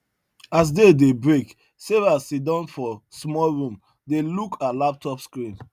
as day dey break sarah siddon for small room dey look her laptop screen